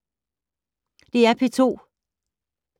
DR P2